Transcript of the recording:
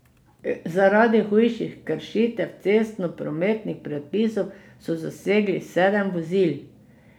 Zaradi hujših kršitev cestnoprometnih predpisov so zasegli sedem vozil.